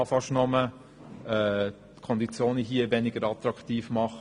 Man kann fast nur die Konditionen hier weniger attraktiv machen.